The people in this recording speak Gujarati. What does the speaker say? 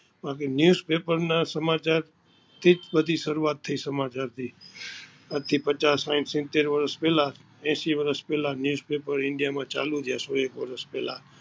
બાકી news paper ના સમાચાર થી જ બધી સરૂઆત થઈ સમાચાર ની આજ થી પચાસ સાઈઠ સિતેર વરસ પેલા હેસિ વરસ પેલા news paper ઈન્ડિયા માં ચાલુ થાય સોએક વરસ પેલા